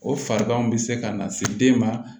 O farigan bɛ se ka na se den ma